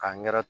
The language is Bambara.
K'a ɲɛ